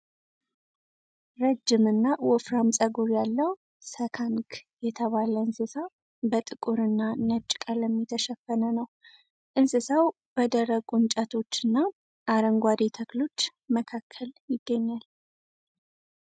ረዥምና ወፍራም ፀጉር ያለው ስካንክ የተባለ እንስሳ በጥቁርና ነጭ ቀለም የተሸፈነ ነው። እንስሳው በደረቁ እንጨቶች እና አረንጓዴ ተክሎች መካከል ይገኛል።